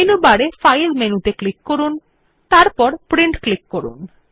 menu বারে file মেনুতে click করুন এবং তারপর প্রিন্ট ক্লিক করুন